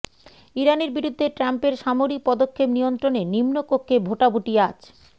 ইরানের বিরুদ্ধে ট্রাম্পের সামরিক পদক্ষেপ নিয়ন্ত্রণে নিম্নকক্ষে ভোটাভুটি আজ